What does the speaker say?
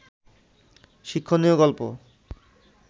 শিক্ষণীয় গল্প